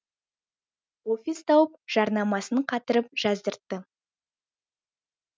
офис тауып жарнамасын қатырып жаздыртты